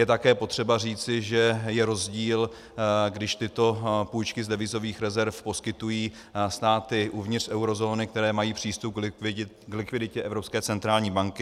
Je také potřeba říci, že je rozdíl, když tyto půjčky z devizových rezerv poskytují státy uvnitř eurozóny, které mají přístup k likviditě Evropské centrální banky.